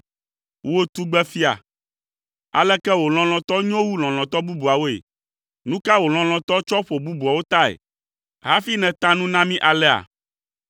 Wò, tugbefia, aleke wò lɔlɔ̃tɔ nyo wu lɔlɔ̃tɔ bubuawoe? Nu ka wò lɔlɔ̃tɔ tsɔ ƒo bubuawo tae hafi nèta nu na mí alea?